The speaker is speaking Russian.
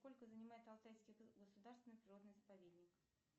сколько занимает алтайский государственный природный заповедник